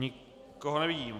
Nikoho nevidím.